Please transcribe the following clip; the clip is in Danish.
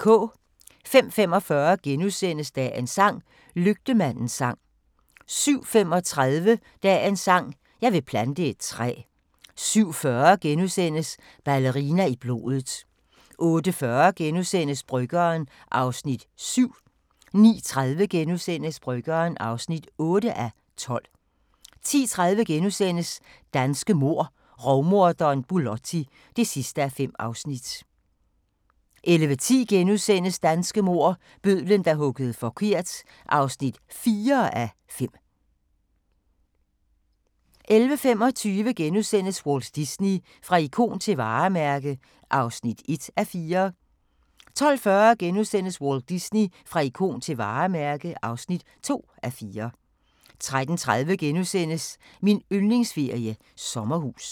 05:45: Dagens sang: Lygtemandens sang * 07:35: Dagens sang: Jeg vil plante et træ 07:40: Ballerina i blodet * 08:40: Bryggeren (7:12)* 09:30: Bryggeren (8:12)* 10:30: Danske mord: Rovmorderen Bulotti (5:5)* 11:10: Danske mord: Bødlen, der huggede forkert (4:5)* 11:45: Walt Disney – fra ikon til varemærke (1:4)* 12:40: Walt Disney – fra ikon til varemærke (2:4)* 13:30: Min yndlingsferie: Sommerhus *